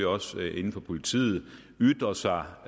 også inden for politiet kan ytre sig